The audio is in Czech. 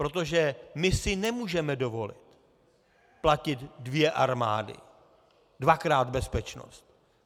Protože my si nemůžeme dovolit platit dvě armády, dvakrát bezpečnost.